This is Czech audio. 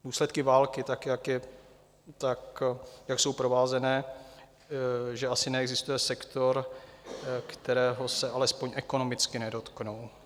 Důsledky války, tak jak jsou provázané, že asi neexistuje sektor, kterého se alespoň ekonomicky nedotknou.